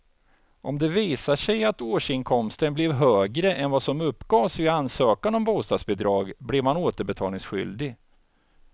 Om det visar sig att årsinkomsten blev högre än vad som uppgavs vid ansökan om bostadsbidrag blir man återbetalningsskyldig.